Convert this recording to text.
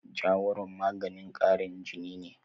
Jawaron maganin ƙarin jini ne.